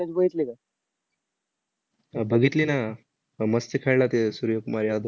अह बघितली ना. अह मस्त खेळला ते सूर्या कुमार यादव.